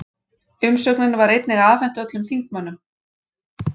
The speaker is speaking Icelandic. Umsögnin var einnig afhent öllum þingmönnum